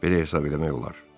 Belə hesab eləmək olar.